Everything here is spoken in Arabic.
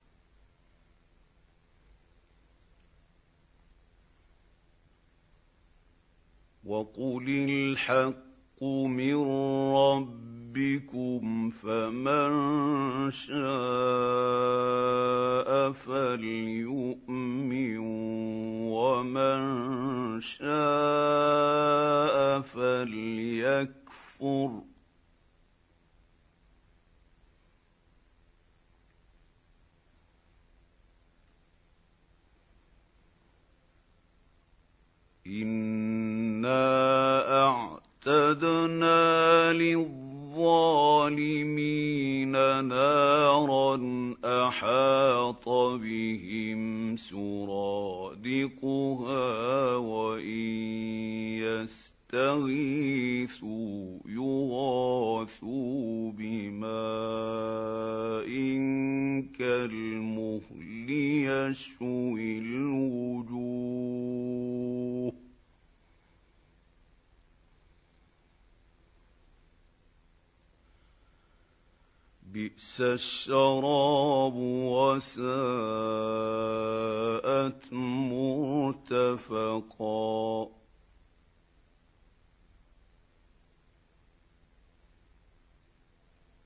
وَقُلِ الْحَقُّ مِن رَّبِّكُمْ ۖ فَمَن شَاءَ فَلْيُؤْمِن وَمَن شَاءَ فَلْيَكْفُرْ ۚ إِنَّا أَعْتَدْنَا لِلظَّالِمِينَ نَارًا أَحَاطَ بِهِمْ سُرَادِقُهَا ۚ وَإِن يَسْتَغِيثُوا يُغَاثُوا بِمَاءٍ كَالْمُهْلِ يَشْوِي الْوُجُوهَ ۚ بِئْسَ الشَّرَابُ وَسَاءَتْ مُرْتَفَقًا